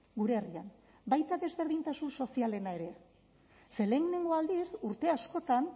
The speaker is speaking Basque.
gure herrian baita desberdintasun sozialena ere ze lehenengo aldiz urte askotan